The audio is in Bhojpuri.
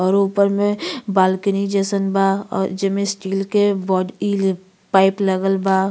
और ऊपर में बालकनी जइसन बा। अ जेमें स्टील के बॉड इल पाइप लागल बा।